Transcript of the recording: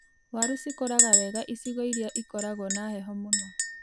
Waru cikoraga wega icigo irĩa ikoragwo na heho mũno.